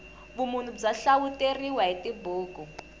vumunhu bya hlawuteriwa hi tibuku